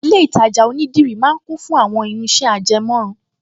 Ilé-ìtajà onídìrí máa ń kún fún àwọn irinṣẹ́ ajẹmọ́run